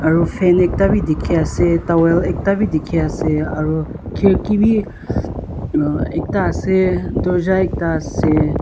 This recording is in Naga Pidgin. aro fan ekta bi dikhiase towel ekta bi dikhiase aro khriki bi ekta ase dorja ekta ase.